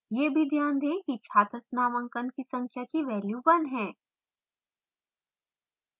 यह भी ध्यान दें कि छात्र नामांकन की संख्या की value 1 है